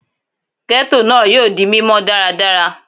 Ghetto naa yoo di mimọ daradara